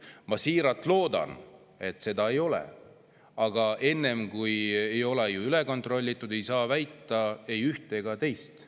Ma siiralt loodan, et seda ei ole, aga enne kui ei ole üle kontrollitud, ei saa väita ei ühte ega teist.